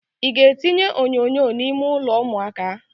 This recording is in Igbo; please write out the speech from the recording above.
Ị ga-etinye onyonyo n'ime ụlọ ụmụaka?